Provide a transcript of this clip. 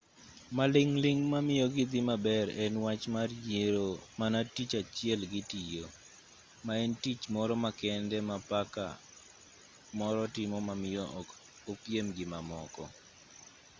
maling' ling' mamiyo gidhi maber en wach mar yiero mana tich achiel gitiyo ma en tich moro makende ma paka moro timo mamiyo ok opiem gi mamoko